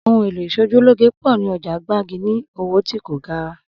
Ohun èlò ìs̩ojúlóge pò̩ ní o̩jà Gbági ní owó tí kò gara